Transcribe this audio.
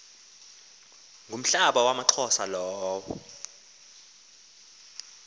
ngumhlaba wamaxhosa lowo